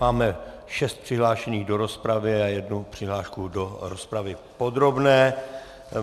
Máme šest přihlášených do rozpravy a jednu přihlášku do rozpravy podrobné.